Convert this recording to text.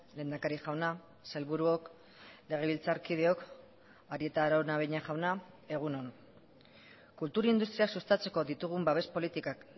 lehendakari jauna sailburuok legebiltzarkideok arieta araunabeña jauna egun on kultur industria sustatzeko ditugun babes politikak